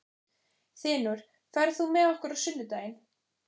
Þinur, ferð þú með okkur á sunnudaginn?